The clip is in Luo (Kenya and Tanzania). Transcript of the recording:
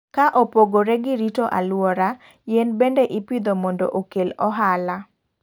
Ka opogore gi rito aluora, yien bende ipidho mondo okel ohala.